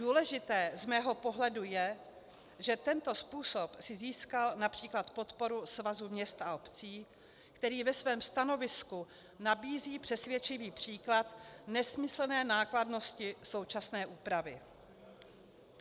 Důležité z mého pohledu je, že tento způsob si získal například podporu Svazu měst a obcí, který ve svém stanovisku nabízí přesvědčivý příklad nesmyslné nákladnosti současné úpravy.